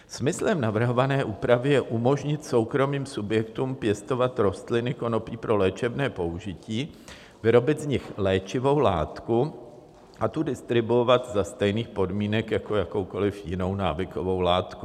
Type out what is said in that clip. Smyslem navrhované úpravy je umožnit soukromým subjektům pěstovat rostliny konopí pro léčebné použití, vyrobit z nich léčivou látku a tu distribuovat za stejných podmínek jako jakoukoliv jinou návykovou látku.